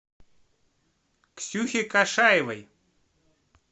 ксюхе кашаевой